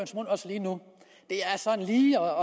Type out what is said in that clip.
lige